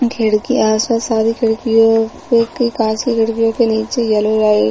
खिड़की है आस-पास सारी खिड़कियों पे के-काँच की खिड़कियों के नीचे येलो लाइट --